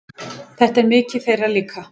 Þetta er mikið þeirra líka.